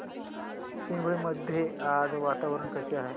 चिंबळी मध्ये आज वातावरण कसे आहे